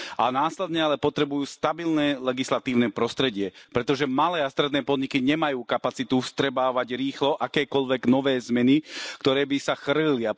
A následne ale potrebujú stabilné legislatívne prostredie, pretože malé a stredné podniky nemajú kapacitu vstrebávať rýchlo akékoľvek nové zmeny, ktoré by sa chrlili.